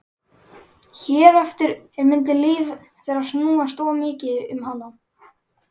Hér eftir mundi líf þeirra snúast of mikið um hana.